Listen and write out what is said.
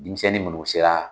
Denmisɛnnin munnu sera